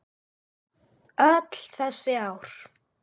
Öll þessi ár?